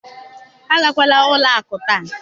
agakwala ụlọ akụ taa!